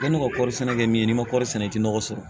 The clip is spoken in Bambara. Yanni ka kɔri sɛnɛ kɛ min n'i ma kɔɔri sɛnɛ i tɛ nɔgɔ sɔrɔ